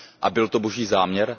A byl to Boží záměr?